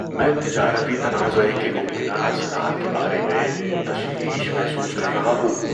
میں تجارتی تنازعہ کے ممکنہ اثرات کے بارے میں تشویش محسوس کر رہا ہوں۔